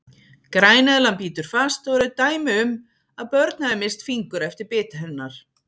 Græneðlan bítur fast og eru dæmi um að börn hafi misst fingur eftir bit hennar.